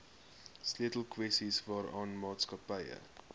sleutelkwessies waaraan maatskappye